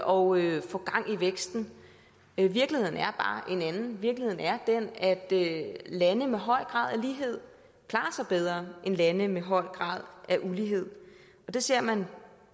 og få gang i væksten virkeligheden er bare en anden virkeligheden er den at lande med høj grad af lighed klarer sig bedre end lande med høj grad af ulighed og det ser man